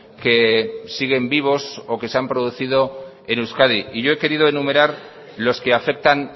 que siguen vivos o que se han producido en euskadi y yo he querido enumerar los que afectan